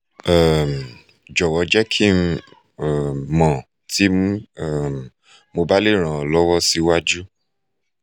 um jọwọ jẹ ki n um mọ ti um mo ba le ran ọ lọwọ siwaju